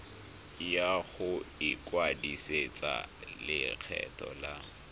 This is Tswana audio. ya go ikwadisetsa lekgetho la